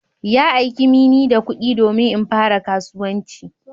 Ya aika mini da kudi domin in fara kasuwanci